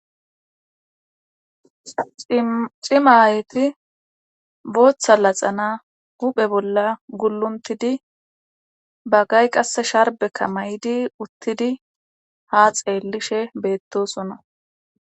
Cimayeti booththa laxana huphe bolla gulluntidi baggay qasse sharbekka may'di uttidi ha xeelishe beettosonna.